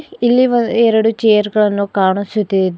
ಇಲ್ಲಿ ಒ ಎರಡು ಚೇರ್ ಗಳನ್ನು ಕಾಣಿಸುತ್ತಿದೆ.